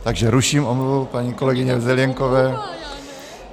Takže ruším omluvu paní kolegyně Zelienkové.